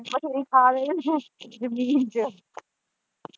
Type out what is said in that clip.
ਵਧੇਰੇ ਪਾ ਦੇਣੀ ਹੀ ਨਾ ਜਮੀਨ ਚ